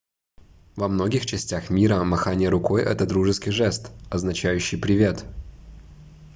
во многих частях мира махание рукой это дружеский жест означающий привет